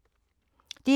DR1